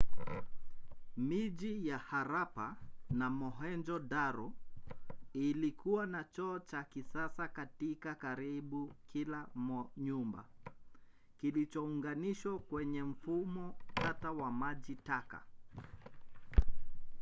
miji ya harappa na mohenjo-daro ilikuwa na choo cha kisasa katika karibu kila nyumba kilichounganishwa kwenye mfumo tata wa maji taka